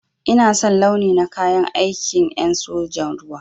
Ina son launi na kayan aikin en sojan ruwa.